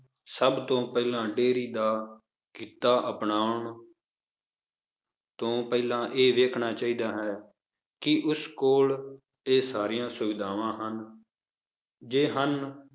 ਸਭ ਤੋਂ ਪਹਿਲਾਂ dairy ਦਾ ਕਿੱਤਾ ਅਪਨਾਉਣ ਤੋਂ ਪਹਿਲਾਂ ਇਹ ਦੇਖਣਾ ਚਾਹੀਦਾ ਹੈ ਕੀ ਉਸ ਕੋਲ ਇਹ ਸਾਰੀਆਂ ਸੁਵਿਧਾਵਾਂ ਹਨ ਜੇ ਹਨ